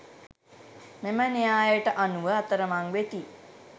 මෙම න්‍යායට අනුව අතරමං වෙති